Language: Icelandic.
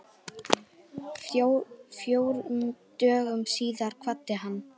Fjórum dögum síðar kvaddi hann.